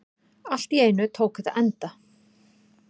Allt í einu tók þetta enda.